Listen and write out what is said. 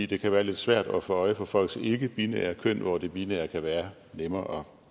det kan være lidt svært at få øje på folks ikkebinære køn hvor det binære umiddelbart kan være nemmere